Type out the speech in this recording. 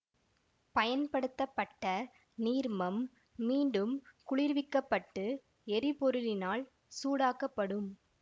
பயன்படுத்த பட்ட நீர்மம் மீண்டும் குளிர்விக்கப்பட்டு எரிபொருளினால் சூடாக்கப்படும்